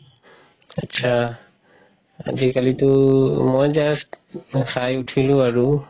আতচা, আজিকালিটো মই just খাই উথিলো আৰু